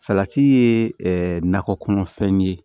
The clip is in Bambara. Salati ye nakɔ kɔnɔfɛn ye